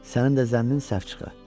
Sənin də zənnin səhv çıxa.